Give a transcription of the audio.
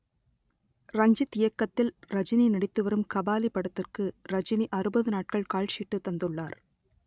ரஞ்சித் இயக்கத்தில் ரஜினி நடித்துவரும் கபாலி படத்திற்கு ரஜினி அறுபது நாட்கள் கால்ஷீட்டு தந்துள்ளார்